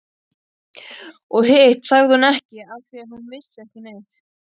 Og hitt sagði hún ekki afþvíað hún vissi ekki neitt.